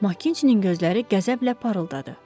Makintinin gözləri qəzəblə parıldadı.